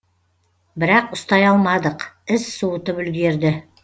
бірақ ұстай алмадық із суытып үлгерді